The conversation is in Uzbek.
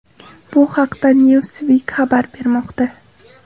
Bu haqda Newsweek xabar bermoqda .